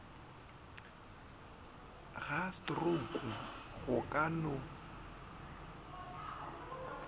ga strouku go ka no